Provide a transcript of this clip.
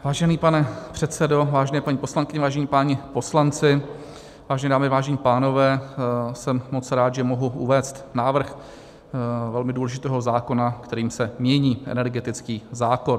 Vážený pane předsedo, vážené paní poslankyně, vážení páni poslanci, vážené dámy, vážení pánové, jsem moc rád, že mohu uvést návrh velmi důležitého zákona, kterým se mění energetický zákon.